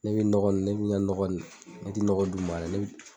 Ne bɛ nɔgɔ ni ne bɛ n ka nɔgɔ ni ne tɛ nɔgɔ d'u ma dɛ ne bɛ